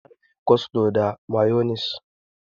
Ana yin coslo da mayonis.